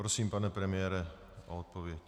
Prosím, pane premiére, o odpověď.